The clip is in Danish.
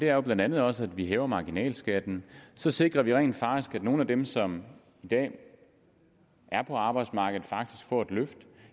er jo blandt andet også at vi hæver marginalskatten så sikrer vi rent faktisk at nogle af dem som i dag er på arbejdsmarkedet får et løft